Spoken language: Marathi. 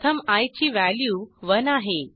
प्रथम आय ची व्हॅल्यू 1 आहे